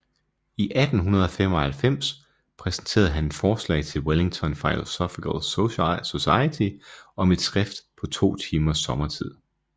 I 1895 præsenterede han et forslag til Wellington Philosophical Society om et skift på to timers sommertid